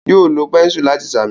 Yóò lo pẹ́ńsù láti sàmì.